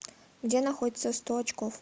где находится сто очков